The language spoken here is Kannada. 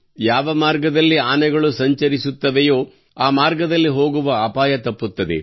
ಯಾವ ಮಾರ್ಗದಲ್ಲಿ ಆನೆಗಳು ಸಂಚರಿಸುತ್ತವೆಯೋ ಆ ಮಾರ್ಗದಲ್ಲಿ ಹೋಗುವ ಅಪಾಯ ತಪ್ಪುತ್ತದೆ